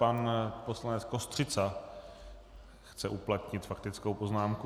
Pan poslanec Kostřica chce uplatnit faktickou poznámku.